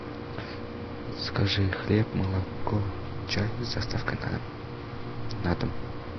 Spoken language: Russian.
закажи хлеб молоко чай с доставкой на дом на дом